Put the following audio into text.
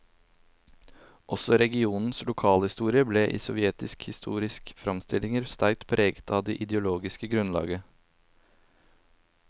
Også regionens lokalhistorie ble i sovjetiske historiske framstillinger sterkt preget av det ideologiske grunnlaget.